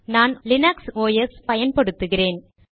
நான் Linux OS பயன்படுத்துகிறேன்